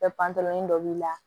Bɛ pan pan nin dɔ b'i la